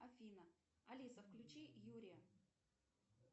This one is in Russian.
афина алиса включи юрия